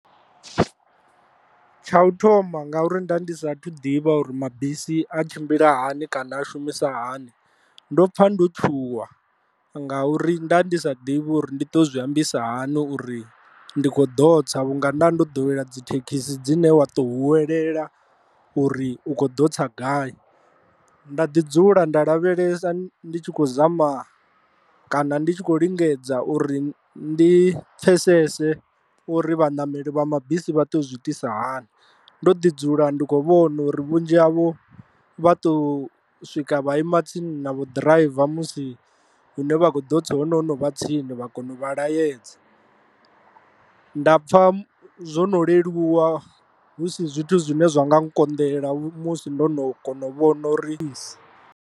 Tsha u thoma ngauri nda ndi sathu ḓivha uri mabisi a tshimbila hani kana a shumisa hani, ndo pfha ndo tshuwa ngauri nda ndi sa ḓivhi uri ndi to zwi ambisa hani uri ndi kho ḓo tsa vhunga nda ndi ḓowela dzithekhisi dzine wa to hwelelwa uri u kho ḓo tsa gai, nda ḓi dzula nda lavhelesa ndi tshi khou zama kana ndi tshi khou lingedza uri ndi pfhesese uri vhanameli vha mabisi vha to zwi itisa hani. Ndo ḓi dzula ndi kho vhona uri vhunzhi havho vha to swika vha ima tsini na vho ḓiraiva musi hune vha kho ḓo tsa ho no vha tsini vha kone u vha laedza, nda pfha zwo no leluwa hu si zwithu zwine zwa nga nkonḓela musi ndo no kona u vhona uri.